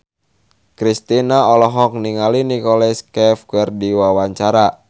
Kristina olohok ningali Nicholas Cafe keur diwawancara